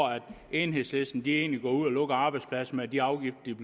enhedslisten egentlig går ud og lukker arbejdspladser med de afgifter de